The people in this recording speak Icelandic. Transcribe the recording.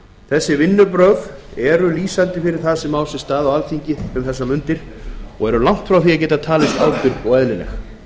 þessi vinnubrögð stjórnarmeirihlutans eru lýsandi fyrir það sem á sér stað á alþingi um þessar mundir og eru langt frá því að geta talist ábyrg og eðlileg